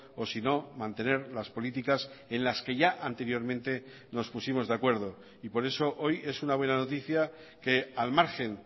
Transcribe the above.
o sino mantener las políticas en las que ya anteriormente nos pusimos de acuerdo y por eso hoy es una buena noticia que al margen